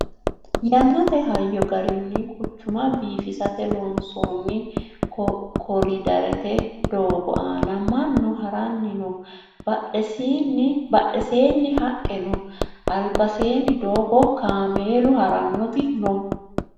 yannate hayyo garinni quchuma biifisate loonsoonni koriiderete doogo aana mannu haranni no badheseeni haqqe no albaseenni doogo kameelu harannoti no